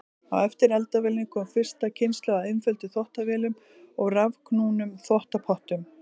Á eftir eldavélinni kom fyrsta kynslóð af einföldum þvottavélum og rafknúnum þvottapottum.